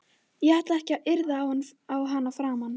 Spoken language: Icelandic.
Ég ætla ekki að yrða á hana framar.